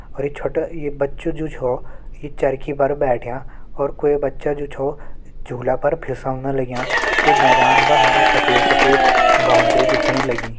अर जो छोटा अर ये बच्चो जु छो इ चरखी पर बैठ्यां अर कोई बच्चो जु छो झूला पर फिसलन लग्यां अर इ मैदान पर हमें सफ़ेद सफेद बॉउंड्री दिखेण लगीं।